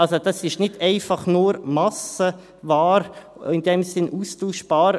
Also, das ist nicht einfach nur Massenware, in dem Sinn austauschbar.